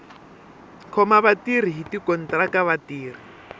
khoma vatirhi hi tikontiraka vatirhi